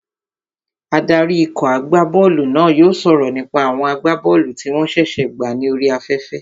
Adarí ikọ̀ agbá bọ́ọ̀lù náà yóò sọ̀rọ̀ nípa àwọn agbá bọ́ọ̀lù tí wọ́n ṣẹ̀ṣẹ̀ gbà ní orí afẹ́fẹ́